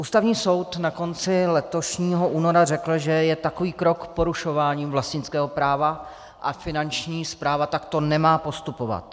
Ústavní soud na konci letošního února řekl, že je takový krok porušováním vlastnického práva a Finanční správa takto nemá postupovat.